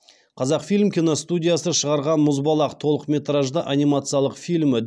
қазақфильм киностудиясы шығарған мұзбалақ толықметражды анимациялық фильмі